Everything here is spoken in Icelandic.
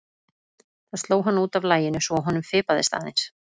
Það sló hann út af laginu svo að honum fipaðist aðeins.